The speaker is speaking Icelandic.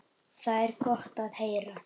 Það er gott að heyra.